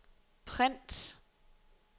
print